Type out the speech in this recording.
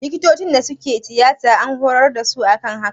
Likitocin da suke tiyata an hurar da su akan haka